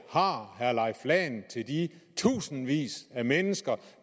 har herre leif lahn til de tusindvis af mennesker